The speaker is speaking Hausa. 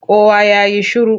Kowa ya yi shiru!